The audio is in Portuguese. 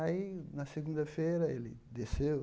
Aí, na segunda-feira, ele desceu.